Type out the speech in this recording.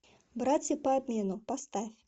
братья по обмену поставь